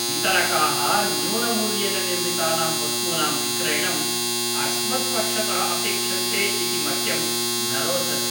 वितरकाः न्यूनमूल्येन निर्मितानां वस्तूनां विक्रयणम् अस्मत्पक्षतः अपेक्षन्ते इति मह्यं न रोचते।